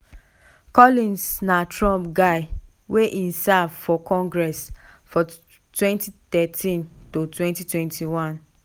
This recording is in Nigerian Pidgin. collins na trump guy wen e serve for congress from 2013-21.